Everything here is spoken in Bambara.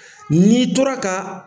Ni tora ka